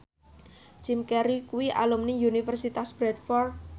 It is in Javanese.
Jim Carey kuwi alumni Universitas Bradford